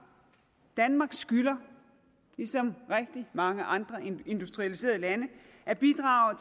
danmark skylder ligesom rigtig mange andre industrialiserede lande at bidrage